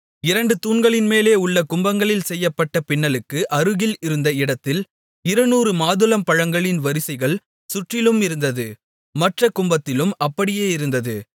இரண்டு தூண்களின்மேலே உள்ள கும்பங்களில் செய்யப்பட்ட பின்னலுக்கு அருகில் இருந்த இடத்தில் இருநூறு மாதுளம்பழங்களின் வரிசைகள் சுற்றிலும் இருந்தது மற்றக் கும்பத்திலும் அப்படியே இருந்தது